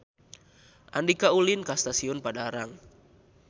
Andika ulin ka Stasiun Padalarang